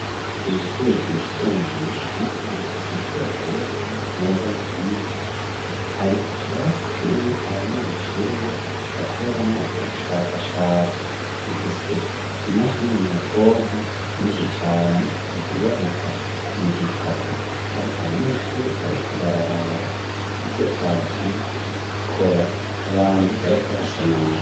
Kwishuri ryisumbuye yitiriwe umuco riherereye n'izana reza mu kinindo. Hari ikirasi kirimo abanyeshuri bakoreramo ubushakashatsi gifise imashini nyabwonko nyinshi cane iziboneka nizitatu. Hari abanyeshuri bariko bararaba ivyo babatumye ku gukora n'abandi bariko barasamara.